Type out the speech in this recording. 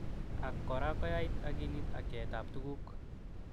Ak kora koyait akilit ak yaet ab tukuk.